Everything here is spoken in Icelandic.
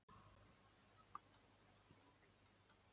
Kristján Már Unnarsson: En truflar þetta gerð kjarasamninganna?